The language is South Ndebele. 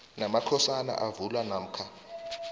namakhosana avulwa namkha